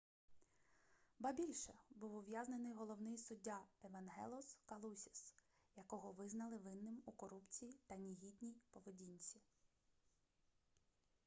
ба більше був ув'язнений головний суддя евангелос калусіс якого визнали винним у корупції та негідній поведінці